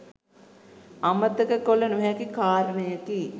අමතක කළ නොහැකි කාරණයකි.